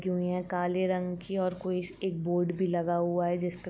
हुई हैं। काले रंग की और कोई एक बोर्ड भी लगा हुआ है जिस पे --